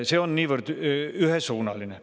See on niivõrd ühesuunaline.